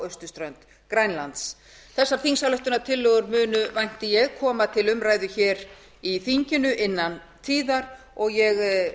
austurströnd grænlands þessar þingsályktuanrtillögur munu vænti ég koma til umræðu hér í þinginu innan tíðar og ég vænti